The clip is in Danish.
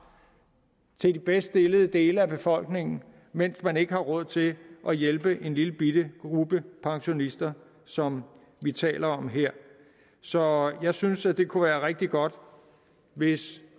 til de bedst stillede dele af befolkningen mens man ikke har råd til at hjælpe en lillebitte gruppe pensionister som vi taler om her så jeg synes at det kunne være rigtig godt hvis